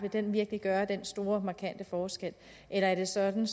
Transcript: virkelig gøre den store markante forskel eller er det sådan